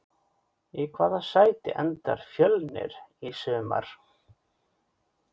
Í hvaða sæti endar Fjölnir í sumar?